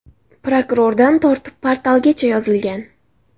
Prokurordan tortib portalgacha yozilgan.